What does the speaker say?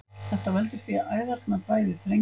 þetta veldur því að æðarnar bæði þrengjast